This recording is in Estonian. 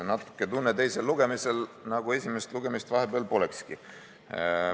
Natuke on tunne teisel lugemisel, nagu esimest lugemist polekski olnud.